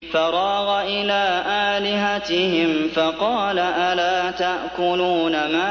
فَرَاغَ إِلَىٰ آلِهَتِهِمْ فَقَالَ أَلَا تَأْكُلُونَ